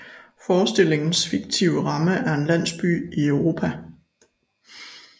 Forestillingens fiktive ramme er en landsby i Europa